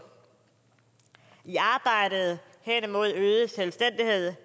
i arbejdet hen imod øget selvstændighed